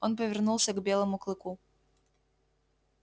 он повернулся к белому клыку